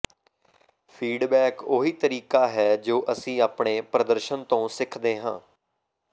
feedback ਉਹੀ ਤਰੀਕਾ ਹੈ ਜੋ ਅਸੀਂ ਆਪਣੇ ਪ੍ਰਦਰਸ਼ਨ ਤੋਂ ਸਿੱਖਦੇ ਹਾਂ